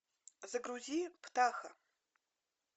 загрузи птаха